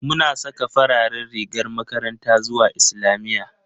Muna saka fararen rigar makaranta zuwa islamiyya